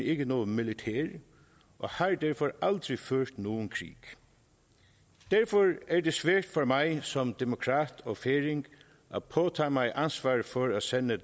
ikke noget militær og har derfor aldrig ført nogen krig derfor er det svært for mig som demokrat og færing at påtage mig ansvaret for at sende